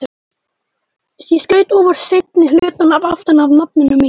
Ég skaut óvart seinni hlutann aftan af nafninu mínu.